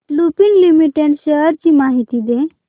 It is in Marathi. लुपिन लिमिटेड शेअर्स ची माहिती दे